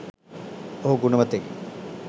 ඔහු ගුණවතෙකි.